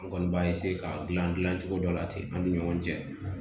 An kɔni b'a k'a dilan dilancogo dɔ la ten an ni ɲɔgɔn cɛ